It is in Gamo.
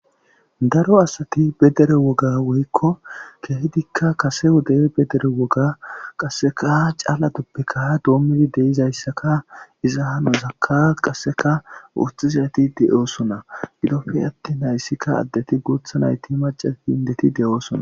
Daro asati bedere woga woykko kehedikka kase woday bedere woga qasseka caalatoppeka doommidi deizayssaka iza hanozakka qasseka wuothi zayati de7oosona gilopfe atti nayssikka addeti guutha nayti maca hindeti de7oosona.